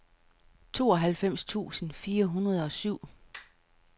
tooghalvfems tusind fire hundrede og syv